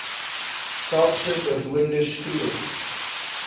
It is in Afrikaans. kaapse bewoonde strook